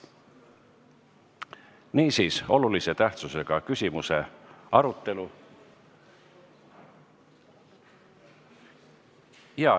Niisiis, olulise tähtsusega küsimuse arutelu.